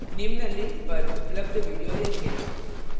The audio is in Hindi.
निम्न link पर उपलब्ध video देखे